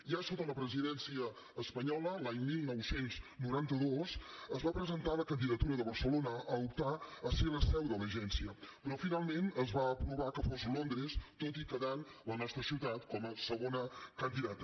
ja sota la presidència espanyola l’any dinou noranta dos es va presentar la candidatura de barcelona a optar a ser la seu de l’agència però finalment es va aprovar que fos londres tot i quedant la nostra ciutat com a segona candidata